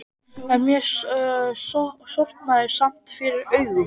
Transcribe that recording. En mér sortnaði samt fyrir augum.